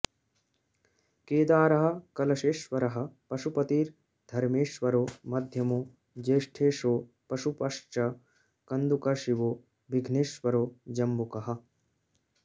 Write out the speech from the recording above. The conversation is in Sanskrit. केदारः कलशेश्वरः पशुपतिर्धर्मेश्वरो मध्यमो ज्येष्ठेशो पशुपश्च कन्दुकशिवो विघ्नेश्वरो जम्बुकः